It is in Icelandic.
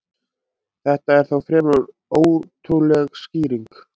Þetta er þó fremur ótrúleg skýring.